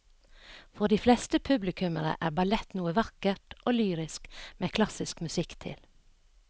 For de fleste publikummere er ballett noe vakkert og lyrisk med klassisk musikk til.